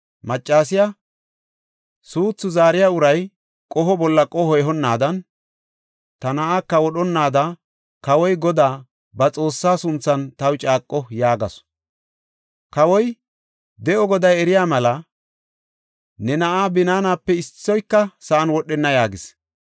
Maccasiya, “Suuthu zaariya uray qoho bolla qoho ehonadanne ta na7aaka wodhonnaada kawoy Godaa, ba Xoossaa sunthan taw caaqo” yaagasu. Kawoy, “De7o Goday eriya mela, ne na7aa binaanape issoyka sa7an wodhenna” yaagis.